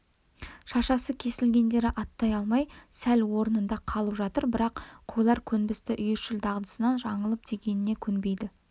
шашасы кесілгендері аттай алмай сол орнында қалып жатыр бірақ қойлар көнбісті үйіршіл дағдысынан жаңылып дегеніне көнбейді